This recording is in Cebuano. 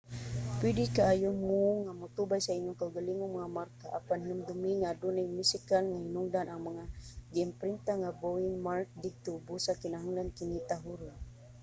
pwede kaayo mo nga motubay sa inyong kaugalingong mga marka apan hinumdumi nga adunay musikal nga hinungdan ang mga giimprinta nga bowing mark didto busa kinahanglan kini tahoron